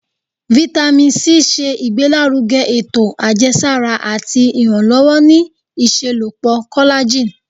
Vitamin C ṣe igbelaruge eto ajẹsara ati iranlọwọ ni iṣelọpọ collagen